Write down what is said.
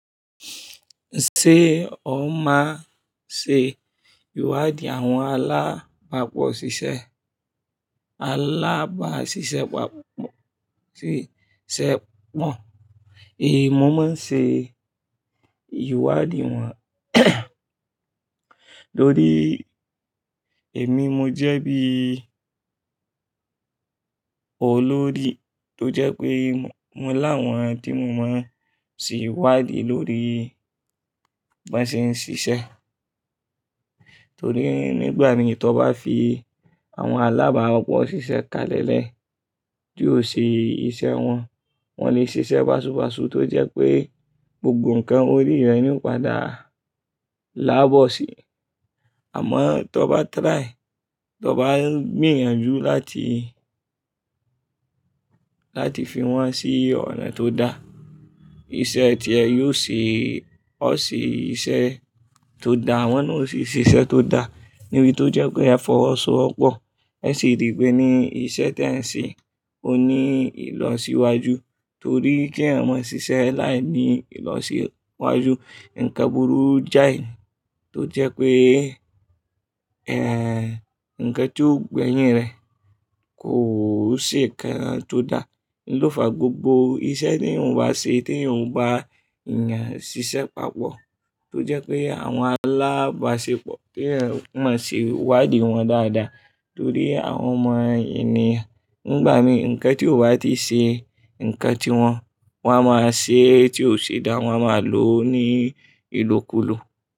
Ṣé o máa ṣe ìwádìí àwọn alábàápọ̀ ṣiṣẹ́? Alábàáṣiṣẹ́pọ̀, ṣiṣẹ́pọ̀. Émi mo máa ń ṣe ìwádìí wọn torí èmi mo jẹ́ bí olórí tó jẹ́ pé mo láwọn tí mo máa ń ṣe ìwádìí lórí bí wọ́n ṣe ń ṣiṣẹ́. Torí nígbà mì tí o bá fi àwọn alábàápọ̀ ṣiṣẹ́ kalẹ̀lẹ̀ tí o ṣe iṣẹ́ wọn, wọ́n lè ṣe iṣẹ́ báṣubàṣu tó jẹ́ pé gbogbo nǹkan orí rẹ̀ nì padà láàbọ̀ sí. Àmọ́ tí o bá try, tí o bá gbìyànjú láti, láti fi wọ́n sí ọ̀nà tó dáa, iṣẹ́ tí ẹ̀ yóò ṣe, ó ṣe iṣẹ́ tó dáa, wọ́n sì ṣe iṣẹ́ tó dáa níbi tó jẹ́ pé a fọwọ́ so pọ̀. Ó sì rí pé ní iṣẹ́ tí ẹ̀ ń ṣe, o ní ìlọsíwájú torí kí ẹ̀ mọ ṣiṣẹ́ láì ní ìlọsíwájú, ǹkan burú jáì tó jẹ́ pé, ẹ́ẹ̀, ǹkan tí ó gbẹ̀yìn rẹ̀ kò ṣe ǹkan tó dáa. Ní lòfa gbogbo iṣẹ́ tí ènìyàn bá ṣe tí ènìyàn bá yàn ṣiṣẹ́pọ̀ tó jẹ́ pé àwọn alábàáṣepọ̀ tí ẹ̀ mọ̀ ṣe ìwádìí wọn dáadáa torí àwọn mọ ènìyàn. Nígbà mìí ǹkan tí o bá ti ṣe ǹkan tí wọ́n, wọ́n máa ṣe tí ó ṣe dáa wọ́n máa lò ó ní ìlòkulò.